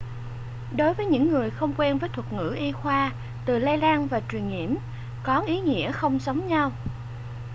đối với những người không quen với thuật ngữ y khoa từ lây lan và truyền nhiễm có ý nghĩa không giống nhau